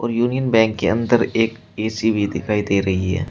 Union Bank के अंदर एक ए_सी भी दिखाई दे रही है।